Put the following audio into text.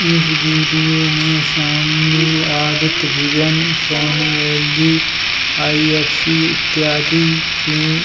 इस वीडियो में सामने Aditya Vision Sony LG. IFC. इत्यादि की --